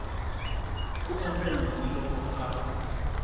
ku endla yini loko a